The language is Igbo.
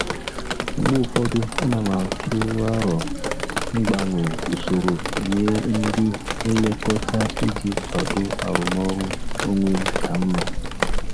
Mgbe ụfọdụ, ana m atụ aro mgbanwe usoro nye ndị nlekọta iji kwado arụmọrụ onwe m ka mma.